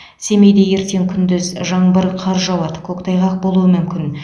семейде ертең күндіз жаңбыр қар жауады көктайғақ болуы мүмкін